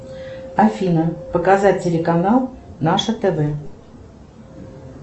афина показать телеканал наше тв